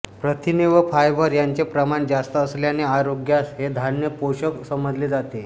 प्रथिने व फायबर यांचे प्रमाण जास्त असल्याने आरोग्यास हे धान्य पोषक समजले जाते